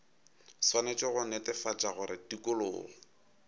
swanetše go netefatša gore tikologo